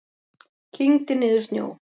Kyngdi niður snjó.